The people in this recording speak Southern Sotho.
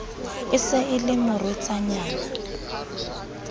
e se e le morwetsanyana